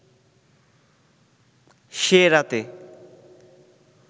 সে রাতে